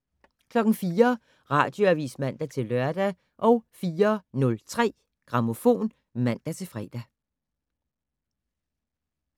04:00: Radioavis (man-lør) 04:03: Grammofon (man-fre)